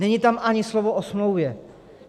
Není tam ani slovo o smlouvě.